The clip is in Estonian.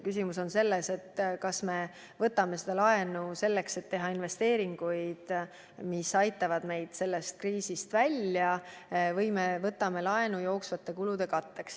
Küsimus on selles, kas me võtame laenu selleks, et teha investeeringuid, mis aitavad meid kriisist välja, või me võtame laenu jooksvate kulude katteks.